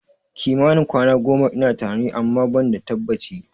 Kimanin kwana goma ina tunani, amma ban da tabbaci